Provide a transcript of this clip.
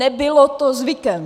Nebylo to zvykem!